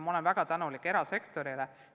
Ma olen väga tänulik erasektorile.